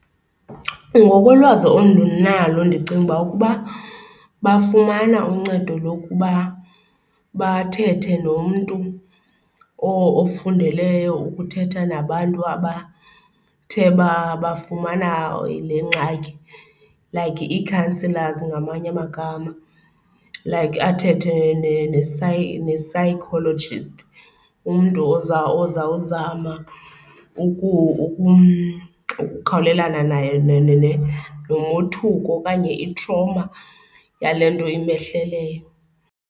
Ngokolwazi endinalo ndicinga ukuba bafumana uncedo lokuba bathethe nomntu ofundeleyo ukuthetha nabantu abathe bafumana le ngxaki, like ii-counsellors ngamanye amagama. Like athethe ne-psychologist, umntu ozawuzama ukukhawulelana naye nomothuko okanye i-trauma yale nto imehleleyo.